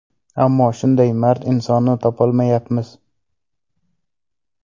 Ammo shunday mard insonni topolmayapmiz.